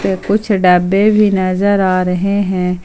कुछ डब्बे भी नजर आ रहे हैं।